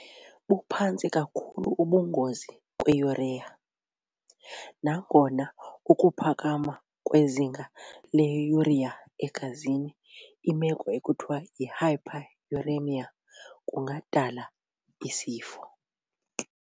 buphantsi kakhulu ubungozi kwiUrea, nangona ukuphakama kwezinga leurea egazini imeko ekuthiwa yihyperuremia kungadala isifo.